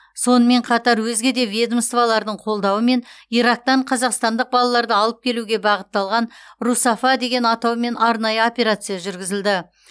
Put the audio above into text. сонымен қатар өзге де ведомстволардың қолдауымен ирактан қазақстандық балаларды алып келуге бағытталған русафа деген атаумен арнайы операция жүргізілді